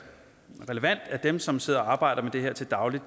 relevant at dem som sidder og arbejder med det her til daglig